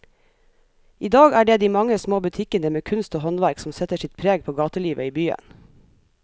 I dag er det de mange små butikkene med kunst og håndverk som setter sitt preg på gatelivet i byen.